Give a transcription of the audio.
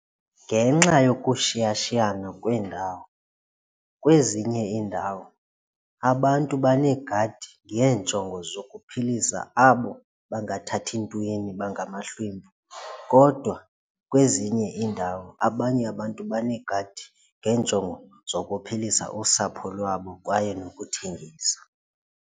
Ngenxa yokushiyashiyana kweendawo kwezinye iindawo abantu baneegadi ngeenjongo zokuphilisa abo bangathathi ntweni bangamahlwempu kodwa kwezinye iindawo abanye abantu baneegadi ngenjongo zokuphilisa usapho lwabo kwaye nokuthengisa.